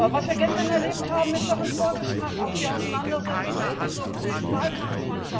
Was wir gestern erlebt haben, ist doch ein Vorgeschmack auf die Auseinandersetzungen während des europäischen Wahlkampfs.